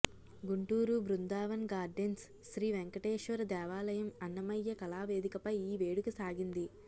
Guntur Brindavan gardens Sri Venkateswara దేవాలయం అన్నమయ్య కళావేదికపై ఈ వేడుక సాగింది